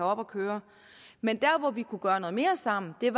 op at køre men vi kunne gøre noget mere sammen ved